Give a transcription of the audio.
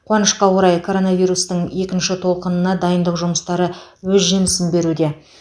қуанышқа орай коронавирустың екінші толқынына дайындық жұмыстары өз жемісін беруде